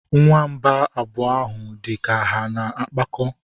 Nwamba abụọ ahụ dị ka ha na-akpakọ.